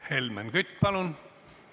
Helmen Kütt, palun!